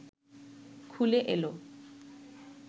খুলে এল